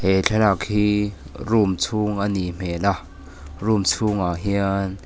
he thlalak hi room chhung anih hmel a room chhungah hian--